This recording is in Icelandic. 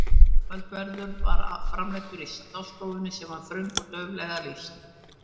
Kvöldverður var framreiddur í stássstofunni sem var þröng og dauflega lýst.